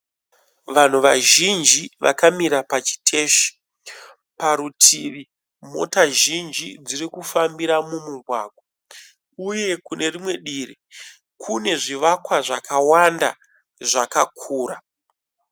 Vanhu vazhinji vakamira pachiteshi. Parutivi mota zhinji dziri kufambira mumugwagwa uye kune rimwe divi kune zvivakwa zvakwanda zvakakura.